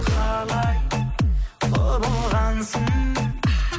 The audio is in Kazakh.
қалай құбылғансың